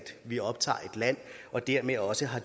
vi optager et land og dermed også har